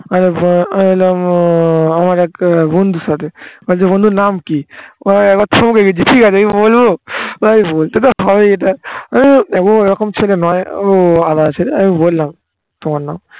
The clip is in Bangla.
আমি বললাম উহ আমার একটা বন্ধুর সাথে বলছে বন্ধুর নাম কি ঠিকাছে বলবো? ভাই বলতে তো হবেই এইটা আমি দেখো ও ওরকম ছেলে নয় ও আলাদা ছেলে আমি বললাম তোমার নাম